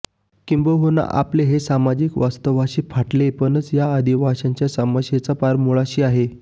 किंबहुना आपलं हे सामाजिक वास्तवाशी फाटलेपणच या आदिवासींच्या समस्येच्या पार मुळाशी आहे